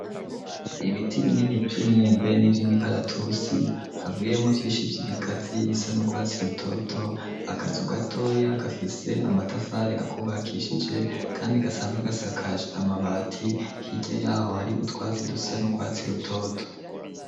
Ibiti binini vye myembe n'ivyo imikaratusi hagwiriye mu vyinshi vy'ibigazi bisa n'urwatsi lutoto akaza ugatoya gafise amatafare akubakishije, kandi gasanzwe gasakaje amabati hirya yaho hari utwatsi dusa n'urwatsi lutoto.